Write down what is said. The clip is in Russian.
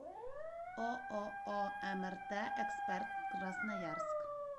ооо мрт эксперт красноярск